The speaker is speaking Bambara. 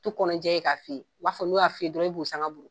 U t'u kɔnɔ jɛ k'a fɔ i ye, u b'a fɔ n'u y'a f'i ye dɔrɔnw e b'u sanga buru.